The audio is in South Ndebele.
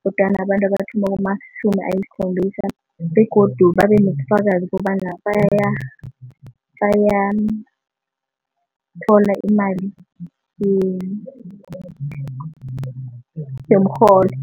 kodwana abantu abathoma kumatjhumi ayisikhombisa begodu babenobufakazi kobana bayathola imali yomrholo.